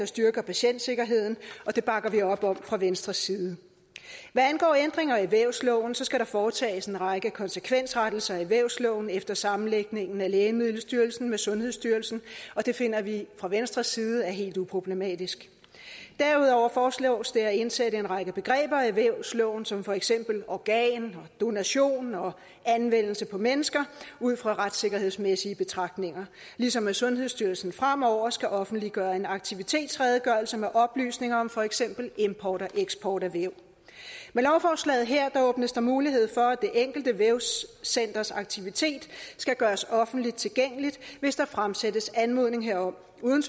styrker patientsikkerheden og det bakker vi op om fra venstres side hvad angår ændringer i vævsloven skal der foretages en række konsekvensrettelser i vævsloven efter sammenlægningen af lægemiddelstyrelsen med sundhedsstyrelsen og det finder vi fra venstres side er helt uproblematisk derudover foreslås det at indsætte en række begreber i vævsloven som for eksempel organ donation og anvendelse på mennesker ud fra retssikkerhedsmæssige betragtninger ligesom sundhedsstyrelsen fremover skal offentliggøre en aktivitetsredegørelse med oplysninger om for eksempel import og eksport af væv med lovforslaget her åbnes der mulighed for at det enkelte vævscenters aktivitet skal gøres offentligt tilgængeligt hvis der fremsættes anmodning herom uden